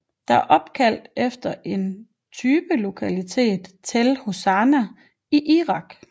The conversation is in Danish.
Det er opkaldt efter typelokaliteten Tell Hassuna i Irak